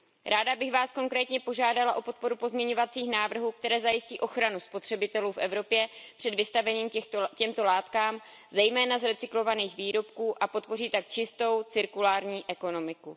Ráda bych vás konkrétně požádala o podporu pozměňovacích návrhů, které zajistí ochranu spotřebitelů v Evropě před vystavením těmto látkám zejména z recyklovaných výrobků a podpoří tak čistou cirkulární ekonomiku.